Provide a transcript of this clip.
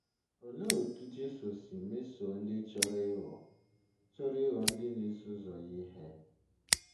Olee otú Jesu si mesoo ndị chọrọ ịghọ chọrọ ịghọ ndị na-eso ụzọ ya ihe?